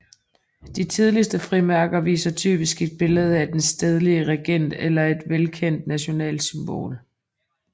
De tidligste frimærker viser typisk et billede af den stedlige regent eller et velkendt nationalt symbol